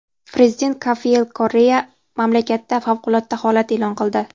Prezident Rafael Korrea mamlakatda favqulodda holat e’lon qildi.